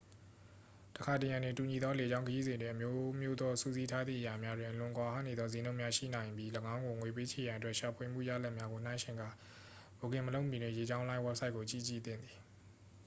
တစ်ခါတစ်ရံတွင် တူညီသောလေကြောင်းခရီးစဉ်တွင် အမျိုးမျိုးသောစုစည်းထားသည့်အရာများတွင် အလွန်ကွာဟနေသောစျေးနှုန်းများရှိနိုင်ပြီး ၎င်းကိုငွေပေးချေရန်အတွက် ရှာဖွေမှုရလဒ်များကိုနှိုင်းယှဉ်ကာ ဘွတ်ကင်မလုပ်မီတွင် လေကြောင်းလိုင်းဝဘ်ဆိုက်ကိုကြည့်ကြည့်သင့်ပါသည်